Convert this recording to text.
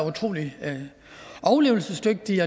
utrolig overlevelsesdygtige